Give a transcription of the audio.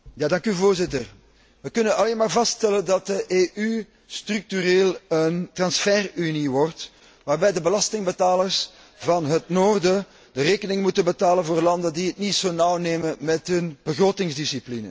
Voorzitter, we kunnen alleen maar vaststellen dat de EU structureel een transferunie wordt, waarbij de belastingbetalers van het noorden de rekening moeten betalen voor landen die het niet zo nauw nemen met hun begrotingsdiscipline.